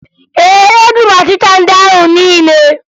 Ee, egburu m ọchịcha ndị ahụ niile